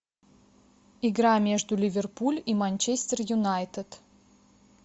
игра между ливерпуль и манчестер юнайтед